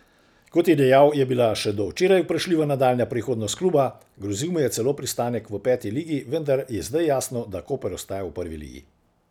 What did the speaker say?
Kot je dejal, je bila še do včeraj vprašljiva nadaljnja prihodnost kluba, grozil mu je celo pristanek v peti ligi, vendar je zdaj jasno, da Koper ostaja v prvi ligi.